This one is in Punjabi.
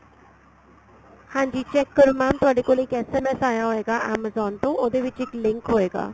ਹਾਂਜੀ check ਕਰੋ mam ਤੁਹਾਡੇ ਕੋਲ ਇੱਕ SMS ਆਇਆ ਹੋਏਗਾ amazon ਤੋਂ ਉਹਦੇ ਵਿੱਚ ਇੱਕ link ਹੋਏਗਾ